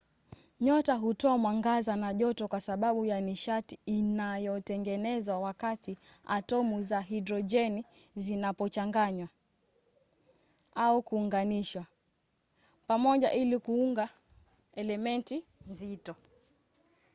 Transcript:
nyota hutoa mwangaza na joto kwa sababu ya nishati inayotengenezwa wakati atomu za hidrojeni zinapochanganywa au kuunganishwa pamoja ili kuunda elementi nzito